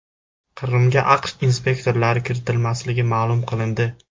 Qrimga AQSh inspektorlari kiritilmasligi ma’lum qilindi.